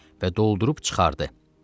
Və doldurub çıxardı.